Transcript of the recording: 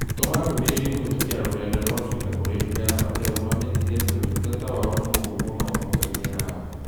Tũma ndũmĩrĩri kũhĩtũkĩra rũrenda rũa tũita kũrĩ ndũka ya Patel ũmamenyithie atĩ ũtungata wao nĩ mũũru mũno thoko-inĩ yao.